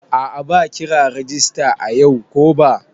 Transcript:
A'a ba kira rajista ayau ko ba.